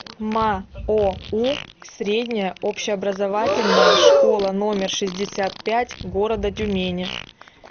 маоу средняя общеобразовательная школа номер шестьдесят пять города тюмени